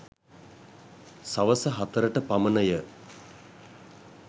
සවස හතරට පමණ ය.